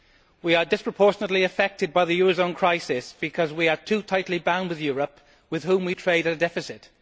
We are disproportionately affected by the eurozone crisis because we are too tightly bound to Europe, with whom we trade at a deficit.